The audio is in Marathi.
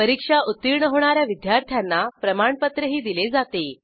परीक्षा उत्तीर्ण होणा या विद्यार्थ्यांना प्रमाणपत्रही दिले जाते